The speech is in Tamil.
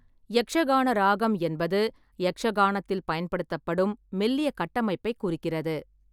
யக்ஷகான ராகம் என்பது யக்ஷகானத்தில் பயன்படுத்தப்படும் மெல்லிய கட்டமைப்பைக் குறிக்கிறது.